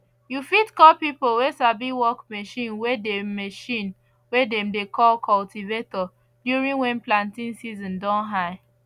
you fit call pipo way sabi work machine way dem machine way dem dey call cultivator during when planting season don high